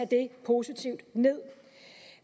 det positivt